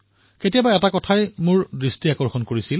কোনোবা এটা সময়ত মই এটা কথা লক্ষ্য কৰিছিলো